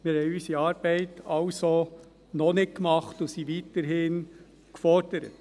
Wir haben unsere Arbeit also noch nicht gemacht und sind weiterhin gefordert.